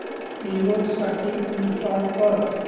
Windows साठी install कर